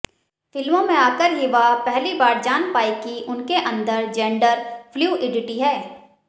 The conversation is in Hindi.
फिल्मों में आकर ही वह पहली बार जान पाईं कि उनके अंदर जेंडर फ्लूइडिटी है